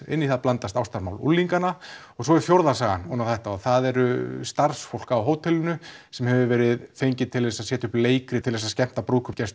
inn í það blandast ástarmál unglinganna og svo er fjórða sagan það er starfsfólk á hótelinu sem hefur verið fengið til þess að setja upp leikrit til þess að skemmta